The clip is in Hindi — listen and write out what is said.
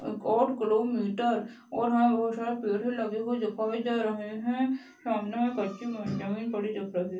ओठ किलोमीटर और यहाँ बहुत सारे पेड़ भी लगे हुए दिखाई दे रहे है सामने अच्छी म जमीन पड़ी दिख रही है।